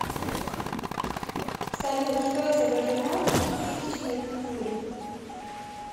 салют что изображено на пятитысячной купюре